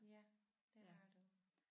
Ja det har du